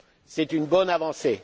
dette. C'est une bonne avancée.